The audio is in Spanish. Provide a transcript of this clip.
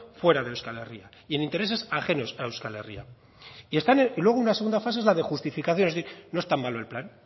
fuera de euskal herria y en intereses ajenos a euskal herria luego una segunda fase es la de justificación es decir no es tan malo el plan